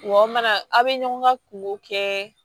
Wa aw mana a bɛ ɲɔgɔn ka kunko kɛ